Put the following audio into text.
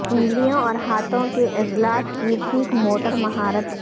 انگلیوں اور ہاتھوں کے عضلات کی ٹھیک موٹر مہارت